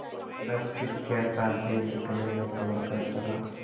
बस फिर क्या था बैल कलेजा तोड़ कर चला